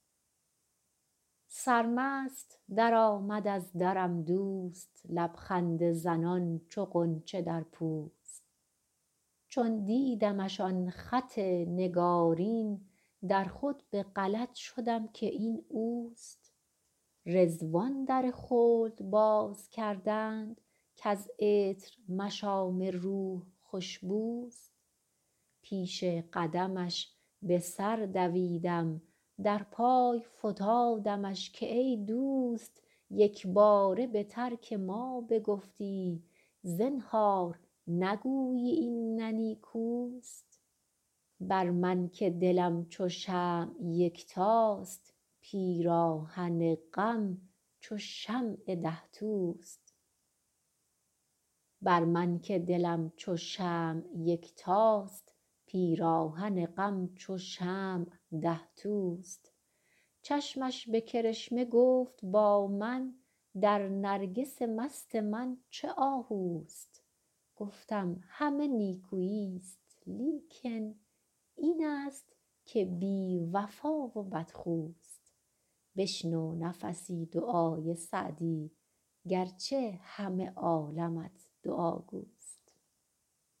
سرمست درآمد از درم دوست لب خنده زنان چو غنچه در پوست چون دیدمش آن رخ نگارین در خود به غلط شدم که این اوست رضوان در خلد باز کردند کز عطر مشام روح خوش بوست پیش قدمش به سر دویدم در پای فتادمش که ای دوست یک باره به ترک ما بگفتی زنهار نگویی این نه نیکوست بر من که دلم چو شمع یکتاست پیراهن غم چو شمع ده توست چشمش به کرشمه گفت با من در نرگس مست من چه آهوست گفتم همه نیکویی ست لیکن این است که بی وفا و بدخوست بشنو نفسی دعای سعدی گر چه همه عالمت دعاگوست